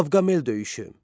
Qavqamel döyüşü.